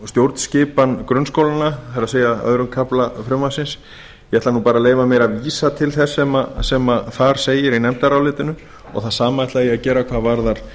stjórnskipan grunnskólanna það er öðrum kafla frumvarpsins ég ætla bara að leyfa mér að vísa til þess sem þar segir í nefndarálitinu og það sama ætla ég að gera hvað varðar